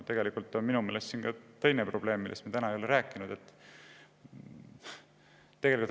Minu meelest on siin ka teine probleem, millest me täna ei ole rääkinud.